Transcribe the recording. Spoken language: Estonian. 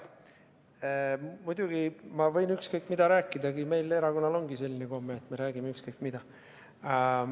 Muidugi, ma võin ükskõik mida rääkida, meie erakonnal ongi selline komme, et me räägime ükskõik mida.